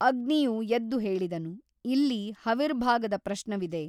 ಅಗ್ನಿಯು ಎದ್ದು ಹೇಳಿದನು ಇಲ್ಲಿ ಹವಿರ್ಭಾಗದ ಪ್ರಶ್ನವಿದೆ.